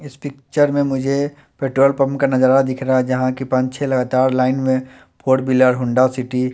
इस पिक्चर में मुझे पेट्रोल पंप का नजारा दिख रहा है जहां की पांच छह लगातार लाइन में फोर व्हीलर होंडा सिटी --